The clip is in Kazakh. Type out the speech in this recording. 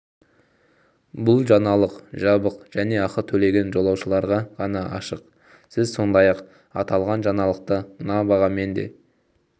бұл жаңалық жабық және ақы төлеген жазылушыларға ғана ашық сіз сондай-ақ аталған жаңалықты мына бағамен де